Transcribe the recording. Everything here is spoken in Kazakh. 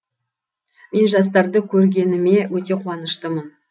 мен жастарды көргеніме өте қуаныштымын